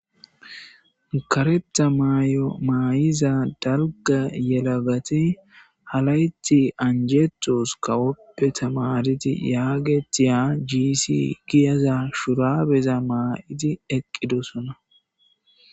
kareta may7o maay7iza dalga yelagati halayti anjetos kawoppe tamariti yaagetiya gsi giyaza shurabeza maa7idi eqqidosona